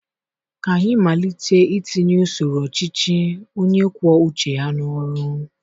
Ka anyị malite itinye usoro ọchịchị onye kwuọ uche ya n'ọrụ.